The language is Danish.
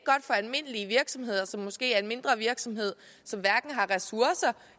for almindelige virksomheder som måske er mindre virksomheder som hverken har ressourcer